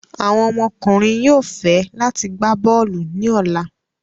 Awọn ọmọkunrin yóò fẹ lati gba bọọlu ni ọla